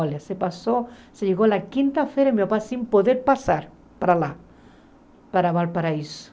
Olha, se passou, se chegou na quinta-feira, meu pai sem poder passar para lá, para Valparaíso.